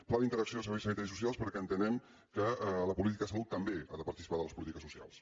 pla d’interacció de serveis sanitaris i socials perquè entenem que la política de salut també ha de participar de les polítiques socials